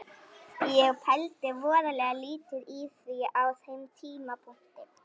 Ég pældi voðalega lítið í því á þeim tímapunkti.